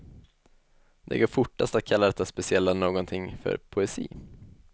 Det går fortast att kalla detta speciella någonting för poesi.